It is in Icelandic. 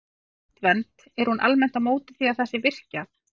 En Landvernd, er hún almennt á móti því að það sé virkjað?